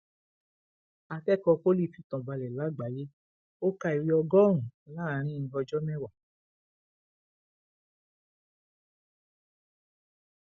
akẹkọọ poli ọṣun fìtàn balẹ lágbàáyé ó ka ìwé ọgọrùnún láàrin ọjọ mẹwàá